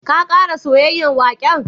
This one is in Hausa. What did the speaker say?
Ka kara soyayen waken?